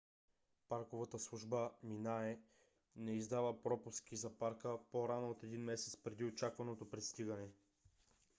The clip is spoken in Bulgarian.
парковата служба minae не издава пропуски за парка по-рано от един месец преди очакваното пристигане